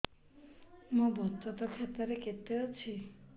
ମୋ ବଚତ ଖାତା ରେ କେତେ ଅଛି